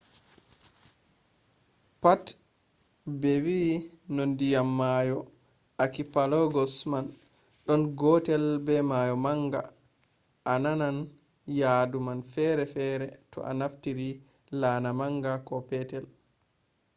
pat be no ndiyam mayo akipelagos man ɗon gotel be mayo manga a na nan yadu man fere fere to a naftiri laana manga ko petel